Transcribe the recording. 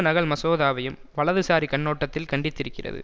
நகல் மசோதாவையும் வலதுசாரி கண்ணோட்டத்தில் கண்டித்திருக்கிறது